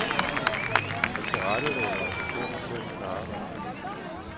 Jeg tilrettelægger og bestemmer selv mit arbejde.